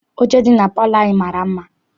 Oche dị na palọ anyị mara mma.